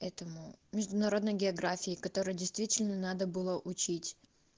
этому международный географии которые действительно надо было учить